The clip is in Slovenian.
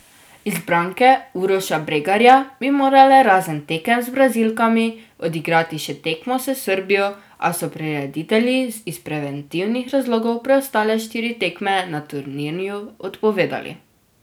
Izbranke Uroša Bregarja bi morale razen tekem z Brazilkami odigrati še tekmo s Srbijo, a so prireditelji iz preventivnih razlogov preostale štiri tekme na turnirju odpovedali.